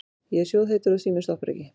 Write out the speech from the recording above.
Ég er sjóðheitur og síminn stoppar ekki.